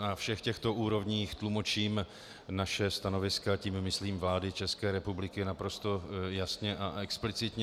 Na všech těchto úrovních tlumočím naše stanoviska, tím myslím vlády České republiky, naprosto jasně a explicitně.